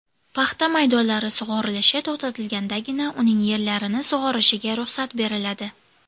Paxta maydonlari sug‘orilishi to‘xtatilgandagina uning yerlarini sug‘orishiga ruxsat beriladi.